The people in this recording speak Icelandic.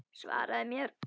Svaraðu mér!